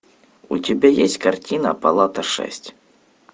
у тебя есть картина палата шесть